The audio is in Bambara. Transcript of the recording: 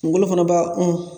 Kungolo fana b'a ɔn